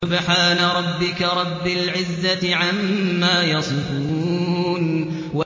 سُبْحَانَ رَبِّكَ رَبِّ الْعِزَّةِ عَمَّا يَصِفُونَ